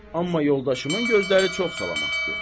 Amma yoldaşımın gözləri çox salamatdır.